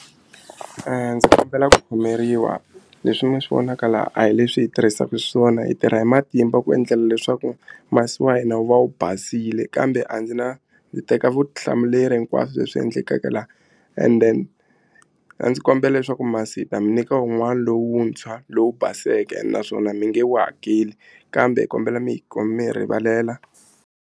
Ndzi kombela ku khomeriwa leswi mi swi vonaka laha a hi leswi hi tirhisaka xiswona hi tirha hi matimba ku endlela leswaku masi wa hina wu va wu basile kambe a ndzi na ndzi teka vutihlamuleri hi hinkwaswo leswi endlekaka and then a ndzi kombela leswaku masi hi ta mi nyika un'wana lowuntshwa lowu baseke ene naswona mi nge wu hakeli kambe hi kombela mi hi mi hi rivalela.